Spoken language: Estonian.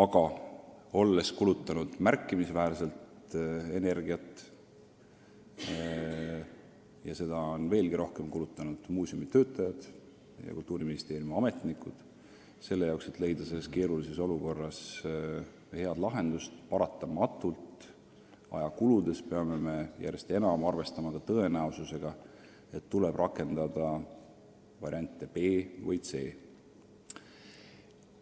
Aga olles kulutanud märkimisväärselt energiat – seda on kulutanud nii muuseumi töötajad kui ka Kultuuriministeeriumi ametnikud – selle jaoks, et leida keerulises olukorras head lahendust, me peame paraku järjest enam arvestama tõenäosusega, et tuleb rakendada varianti B või C.